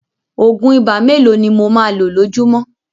Òògùn ibà mélòó ni mo máa lo lójúmọ́